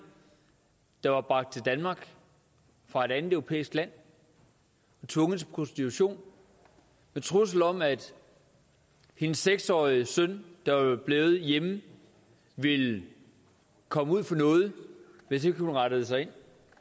der var bragt til danmark fra et andet europæisk land og tvunget til prostitution med trussel om at hendes seks årige søn der var blevet hjemme ville komme ud for noget hvis ikke hun rettede sig ind